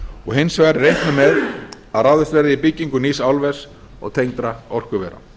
og hins vegar er reiknað með að ráðist verði í byggingu nýs álvers og tengdra orkuvera